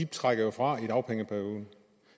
trukket fra i dagpengeperioden